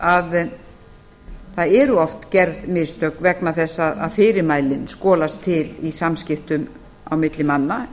að það eru oft gerð mistök vegna þess að fyrirmælin skolast til í samskiptum á milli manna